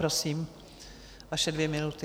Prosím, vaše dvě minuty.